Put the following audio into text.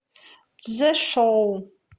цзешоу